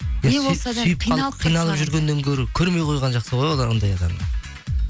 қиналып жүргеннен гөрі көрмей қойған жақсы ғой ондай адамды